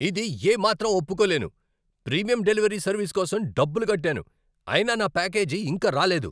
ఇది ఏమాత్రం ఒప్పుకోలేను! ప్రీమియం డెలివరీ సర్వీస్ కోసం డబ్బులు కట్టాను, అయినా నా ప్యాకేజీ ఇంకా రాలేదు!